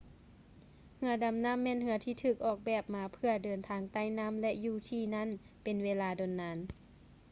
ເຮືອດໍານໍ້າແມ່ນເຮືອທີ່ຖືກອອກແບບມາເພື່ອເດີນທາງໃຕ້ ນໍ້າ ແລະ ຢູ່ທີ່ນັ້ນເປັນເວລາດົນນານ